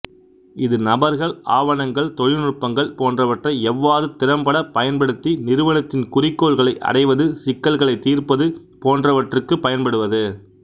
இது நபர்கள் ஆவணங்கள் தொழில்நுட்பங்கள் போன்றவற்றை எவ்வாறு திறம்பட பயன்படுத்தி நிறுவனத்தின் குறிக்கோள்களை அடைவது சிக்கல்களைத் தீர்ப்பது போன்ரவற்றுக்குப் பயன்படுவது